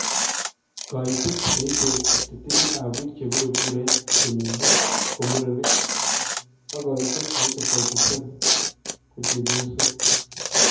Kaiteet neite 53 ab biik chebiree kureet kenyinii ko murenik ak kaiteet neite 47 ko chebyosook